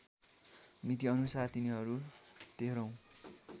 मितिअनुसार तिनीहरू तेह्रौँ